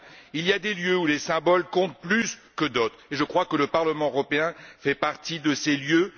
Il y a des lieux où les symboles comptent plus que d'autres, et je crois que le Parlement européen fait partie de ces lieux.